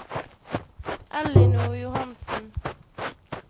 Ellinor Johansen